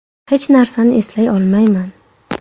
Hech narsani eslay olmayman.